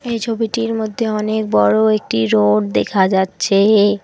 এই ছবিটির মধ্যে অনেক বড় একটি রোড দেখা যাচ্ছেএ।